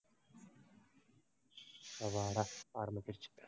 அப்பாடா, ஆரம்பிச்சுருச்சு